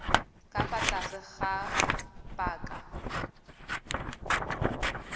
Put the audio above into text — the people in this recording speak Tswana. ka fa tlase ga paka